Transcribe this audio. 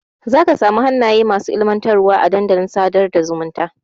Zaka samu hannaye masu ilmantarwa a dandalin sadar da zumunta.